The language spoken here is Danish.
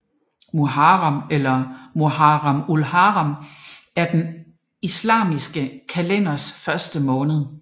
Muharram eller Muharram ul Haram er den islamiske kalenders første måned